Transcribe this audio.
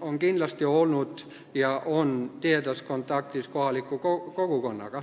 on kindlasti olnud ja on tihedas kontaktis kohaliku kogukonnaga.